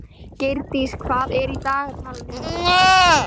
Geirdís, hvað er í dagatalinu mínu í dag?